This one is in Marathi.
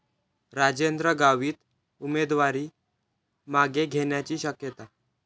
राजेंद्र गावित उमेदवारी मागे घेण्याची शक्यता